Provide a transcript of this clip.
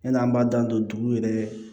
Yan'an b'an dan don dugu yɛrɛ